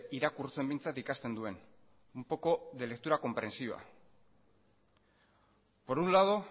irakurtzen behintzat ikasten duen un poco de lectura comprensiva por un lado